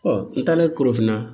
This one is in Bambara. n taara ye korofinna